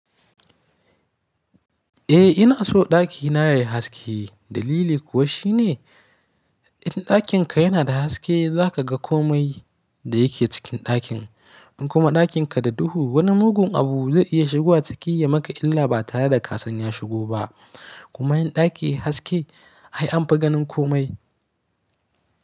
Eh ina so ɗakina yayi haske dalili kuwa shine in ɗakinka yana da haske zaka ga komai da yake cikin ɗakin in kuma ɗakin ka da duhu wani mugun abu zai iya shigowa ciki ya maka illa ba tare da ka san ya shigo ba kuma yin ɗaki haske ai anfi ganin komai.